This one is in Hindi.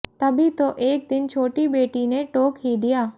तभी तो एक दिन छोटी बेटी ने टोक ही दिया